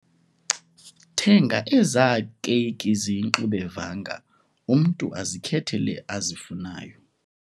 Thenga ezaa keyiki ziyingxubevanga umntu azikhethele azifunayo.